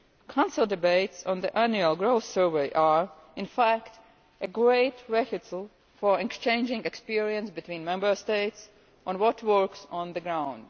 Council debates on the Annual Growth Survey are, in fact, a great vehicle for exchanging experiences between Member States on what works on the ground.